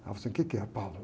Ela falou assim, o quê que é?